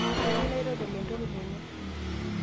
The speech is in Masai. kayieu naitodol entoki tene